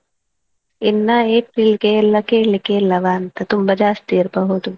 ಇನ್ನಾ April ಗೆ ಎಲ್ಲ ಕೇಳ್ಲಿಕ್ಕೆೇ ಇಲ್ಲವಾ ಅಂತ ತುಂಬಾ ಜಾಸ್ತಿ ಇರ್ಬೋದು.